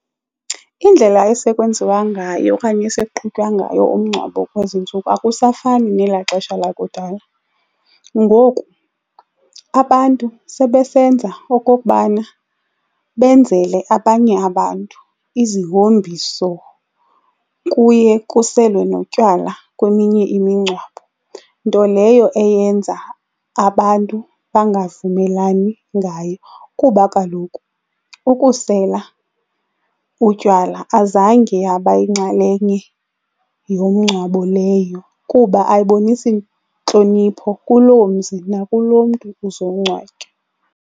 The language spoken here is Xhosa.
Indlela esekwenziwa ngayo okanye esekuqhutywa ngayo umngcwabo kwezi ntsuku akusafani nela xesha lakudala. Ngoku abantu sebesenza okokubana benzele abanye abantu izihombiso. Kuye kuselwe notywala kweminye imingcwabo nto leyo eyenza abantu bangavumelani ngayo kuba kaloku ukusela utywala azange yabayinxalenye yomngcwabo leyo kuba ayibonisi ntlonipho kuloo mzi nakuloo mntu uzokungcwatywa.